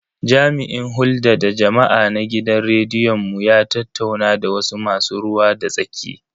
Jami'in hulda da jama'a na gidan rediyon mu ya tattauna da wasu masu ruwa da tsaki.